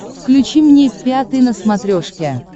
включи мне пятый на смотрешке